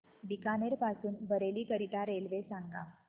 बीकानेर पासून बरेली करीता रेल्वे सांगा